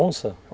Onça?